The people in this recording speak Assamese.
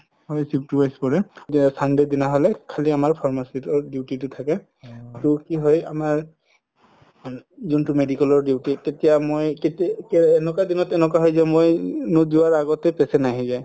হয় shift wise কৰে যে sunday ৰ দিনা হলে খালি আমাৰ pharmacist ৰ duty তো থাকে তো কি হয় আমাৰ যোনতো medical ৰ duty তেতিয়া মই এনেকুৱা দিনত এনেকুৱা হয় যাও মই নোজোৱাৰ আগতে patient আহি যাই